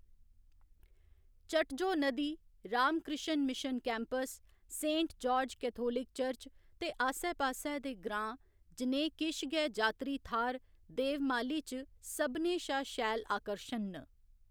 चटजो नदी, Ramakrishna Mission campus, Saint George Catholic Church ते आस्सै पास्सै दे ग्रांऽ जनेह् किश गै जात्तरी थाह्‌‌‌र देवमाली च सभनें शा शैल आकर्शन न।